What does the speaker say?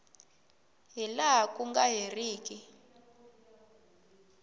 hi laha ku nga heriki